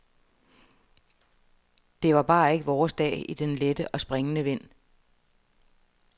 Det var bare ikke vores dag i den lette og springende vind.